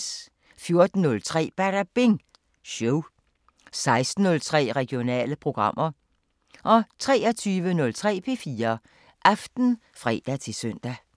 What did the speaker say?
14:03: Badabing Show 16:03: Regionale programmer 23:03: P4 Aften (fre-søn)